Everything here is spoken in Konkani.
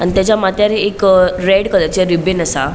आणि तेचा मात्यार एक रेड कलरचे रिबीन असा.